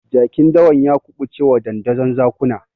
Jakin dawan ya kuɓucewa dandazon zakuna.